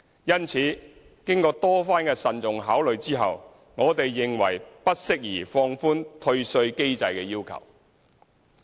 因此，經過多番慎重考慮，我們認為不適宜放寬退稅機制的要求。